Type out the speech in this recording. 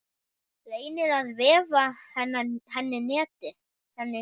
Reynir að vefa henni net.